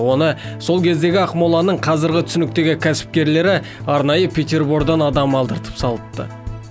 оны сол кездегі ақмоланың қазіргі түсініктегі кәсіпкерлері арнайы петербордан адам алдыртып салыпты